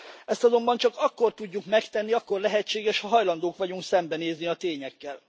Ezt azonban csak akkor tudjuk megtenni, akkor lehetséges, ha hajlandók vagyunk szembenézni a tényekkel.